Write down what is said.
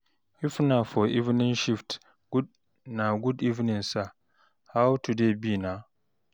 if na for evening shift na good evening sir, how today be na?